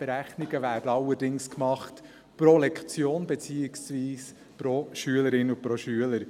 Die Berechnungen werden allerdings pro Lektion gemacht, beziehungsweise pro Schülerin und Schüler.